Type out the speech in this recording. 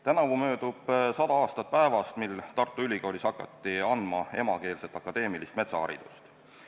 Tänavu möödub 100 aastat päevast, kui Tartu Ülikoolis hakati andma emakeelset akadeemilist metsaharidust.